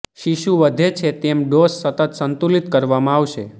શિશુ વધે છે તેમ ડોઝ સતત સંતુલિત કરવામાં આવશે